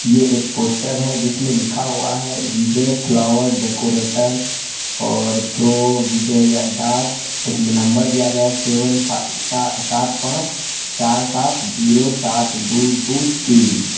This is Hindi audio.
यह एक पोस्टर है जिसमें लिखा हुआ है विजय फ्लावर डेकोरेटर और प्रो विजय दास इसमें नंबर दिया गया है सेवन फा- सा- सात पांच चार सात जीरो सात दो दो तीन।